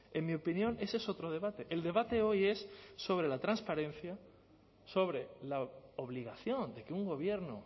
en mi opinión ese es otro debate el debate hoy es sobre la transparencia sobre la obligación de que un gobierno